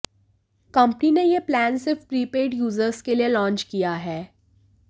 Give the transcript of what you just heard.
company ने ये plans सिर्फ प्रीपेड यूजर्स के लिए लॉन्च किया है